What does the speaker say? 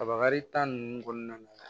Kabakari ninnu kɔnɔna na